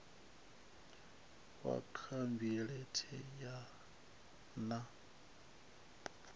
wa khabinethe a re na